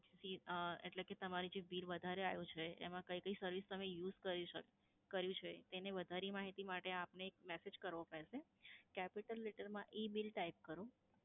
એટલે કે તમારે જે bill વધારે આયુ છે એમાં કઇ કઈ service તમે use કરી શક, કર્યું છે તેની વધારે માહિતી માટે આપને એક message કરવો પડશે. Capital letter માં EBILL type કરો,